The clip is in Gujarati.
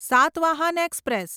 સાતવાહન એક્સપ્રેસ